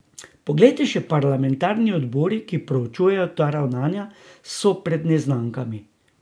Poglejte, še parlamentarni odbori, ki proučujejo ta ravnanja, so pred neznankami.